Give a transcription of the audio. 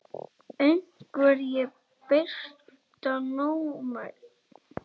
Einherji Besta númer?